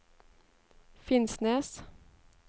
Finnsnes